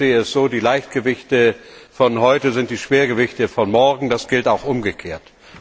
Ich sehe es so Die Leichtgewichte von heute sind die Schwergewichte von morgen, und das gilt auch umgekehrt.